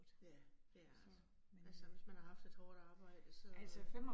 Ja, det er så. Altså, hvis man har haft et hårdt arbejde så